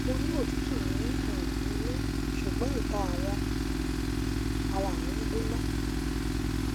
mo ni otutu ni um inu sugbon ita awọn um ara mi gbona